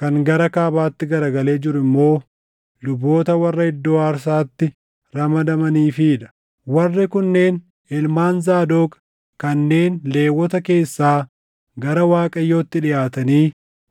kan gara kaabaatti garagalee jiru immoo luboota warra iddoo aarsaatti ramadamaniifii dha. Warri kunneen ilmaan Zaadoq; kanneen Lewwota keessaa gara Waaqayyootti dhiʼaatanii